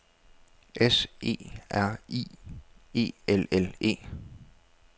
S E R I E L L E